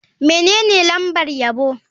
Menene lambar yabo?